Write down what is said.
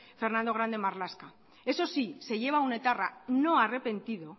fernando grande marlaska eso sí se lleva a un etarra no arrepentido